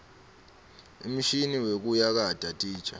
umshini wekuyakata titja